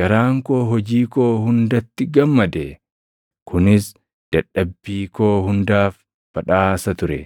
Garaan koo hojii koo hundatti gammade; kunis dadhabbii koo hundaaf badhaasa ture.